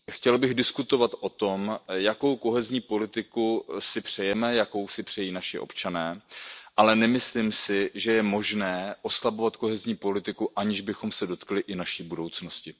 Chtěl bych diskutovat o tom, jakou kohezní politiku si přejeme, jakou si přejí naši občané, ale nemyslím si, že je možné oslabovat kohezní politiku, aniž bychom se dotkli i naší budoucnosti.